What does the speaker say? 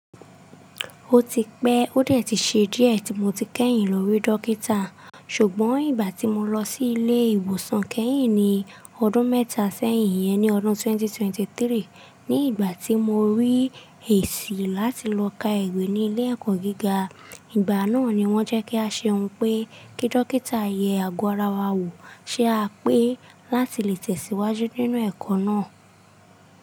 Ó ti pẹ́, ó dẹ̀ ti ṣe díẹ̀ tí mo ti kẹ́yìn lórí dókítà, ṣùgbọ́n ìgbà tí mo lọ sí ilé ìwòsàn kẹ́yìn ní ọdún mẹ́ta sẹ́yìn yẹn ní ọdún 2023, ní ìgbà tí mo rí èsì láti lọ ka ìwé ní ilé ẹ̀kọ́ gíga, ìgbà náà ni wọ́n jẹ́ kí a ṣe ohun pé kí dókítà yẹ àgo ara wa wò, ṣé à pé láti lè tẹ̀síwájú nínú ẹ̀kọ́ náà.